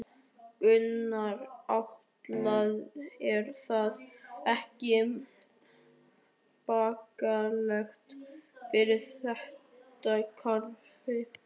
Gunnar Atli: Er það ekki bagalegt fyrir þetta kerfi?